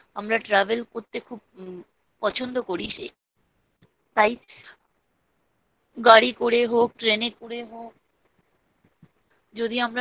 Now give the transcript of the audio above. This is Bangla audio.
আমরা travel করতে খুব পছন্দ করি। সেইটাই তাই। গাড়ি করে হোক ট্রেনের করে হোক।